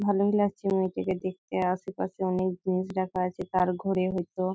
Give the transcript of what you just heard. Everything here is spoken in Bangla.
ভালোই লাগছে মেয়েটিকে দেখতে আশেপাশে অনেক জিনিস রাখা আছে তার ঘরে হইতো--